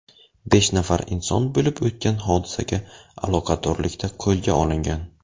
Besh nafar inson bo‘lib o‘tgan hodisaga aloqadorlikda qo‘lga olingan.